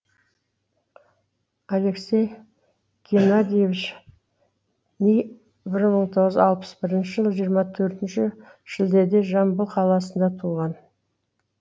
алексей геннадьевич ни бір мың тоғыз жүз алпыс бірінші жылы жиырма төртініш шілдеде жамбыл қаласында туған